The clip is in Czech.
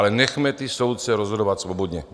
Ale nechme ty soudce rozhodovat svobodně.